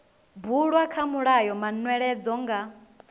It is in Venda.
bulwa kha mulayo manweledzo nga